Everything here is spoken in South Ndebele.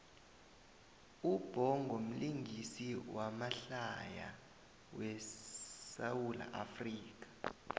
ubhongo mlingisi wamahlaya we sawula afrika